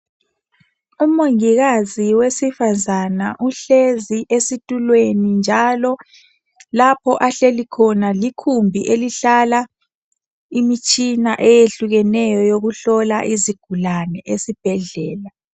Umongikazi wesifazane uhlezi esitulweni njalo lapho ahleli khona likhumbi elihlala imitshina eyehlukeneyo eyokuhlola izigulane esibhedlela.